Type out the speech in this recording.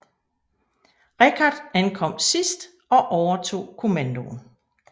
Richard ankom sidst og overtog kommandoen